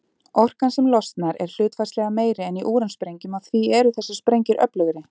Orkan sem losnar er hlutfallslega meiri en í úransprengjum og því eru þessar sprengjur öflugri.